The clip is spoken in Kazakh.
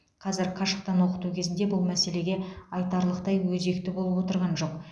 қазір қашықтан оқыту кезінде бұл мәселеге айтарлықтай өзекті болып тұрған жоқ